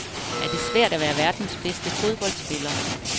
Er det svært at være verdens bedste fodboldspiller?